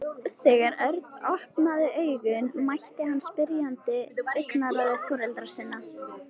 Þegar Örn opnaði augun mætti hann spyrjandi augnaráði foreldra sinna.